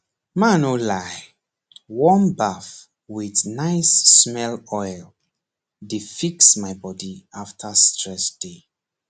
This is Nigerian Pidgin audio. mah no lie warm baff with nice smell oil dey fix my body after stress day